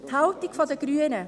Die Haltung der Grünen: